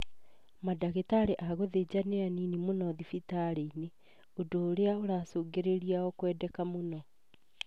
Madagĩtari a gũthĩnja nĩ anini mũno thibitari-inĩ, ũndũ ũrĩa ũracũngĩrĩria o kwendeka mũno